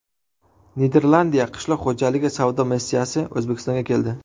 Niderlandiya qishloq xo‘jaligi savdo missiyasi O‘zbekistonga keldi.